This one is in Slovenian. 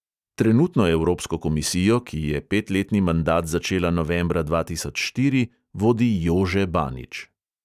Trenutno evropsko komisijo, ki je petletni mandat začela novembra dva tisoč štiri, vodi jože banič.